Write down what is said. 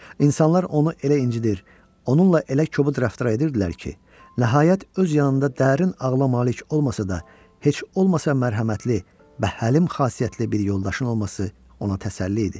İnsanlar onu elə incidir, onunla elə kobud rəftar edirdilər ki, nəhayət öz yanında dərin ağla malik olmasa da, heç olmasa mərhəmətli, həlim xasiyyətli bir yoldaşın olması ona təsəlli idi.